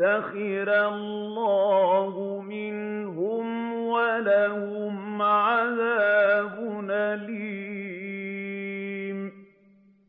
سَخِرَ اللَّهُ مِنْهُمْ وَلَهُمْ عَذَابٌ أَلِيمٌ